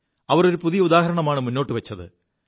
അവർ ഒരു പുതിയ ഉദാഹരണമാണ് മുാേുവച്ചത്